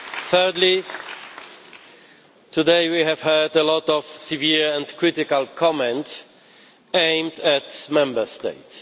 Thirdly, today we have heard a lot of severe and critical comments aimed at Member States.